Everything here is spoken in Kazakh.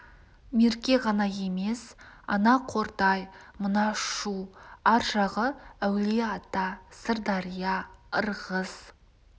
мерке ғана емес ана қордай мына шу ар жағы әулие-ата сырдария ырғыз